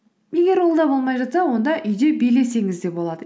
егер ол да болмай жатса онда үйде билесеңіз де болады